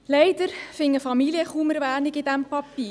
Leider finden Familien kaum Erwähnung in diesem Papier.